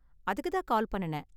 அதுக்கு தான் கால் பண்ணுனேன்.